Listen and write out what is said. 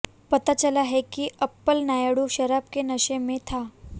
पता चला है कि अप्पल नायडू शराब के नशे में था